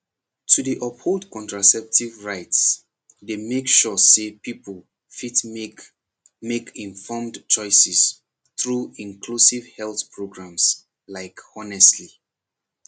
to dey uphold contraceptive rights dey make sure say people fit make make informed choices through inclusive health programs like honestly